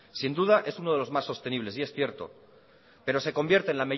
sin duda es uno de los más sostenibles y es cierto pero se convierte